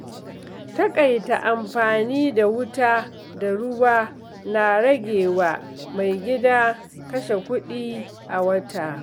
Taƙaita amfani da wuta da ruwa na ragewa mai gida kashe kuɗi a wata.